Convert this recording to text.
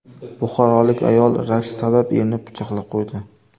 Buxorolik ayol rashk sabab erini pichoqlab qo‘ydi.